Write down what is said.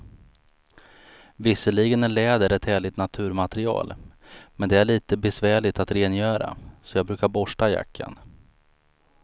Visserligen är läder ett härligt naturmaterial, men det är lite besvärligt att rengöra, så jag brukar borsta jackan.